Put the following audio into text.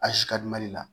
Asikadumali la